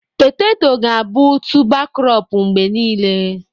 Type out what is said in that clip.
Petetọ ga-abụ tụba krọp mgbe niile.